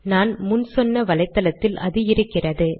நான் முன் சொன்ன வலைதளத்தில் அது இருக்கிறது